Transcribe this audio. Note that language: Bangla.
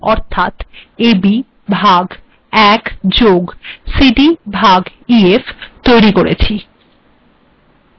এখােন আমরা জিটলতর রািশমালা অর্থাত ab ভাগ ১ + cd ভাগ ef ৈতরী কেরিছ